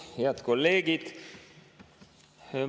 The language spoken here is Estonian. Head kolleegid!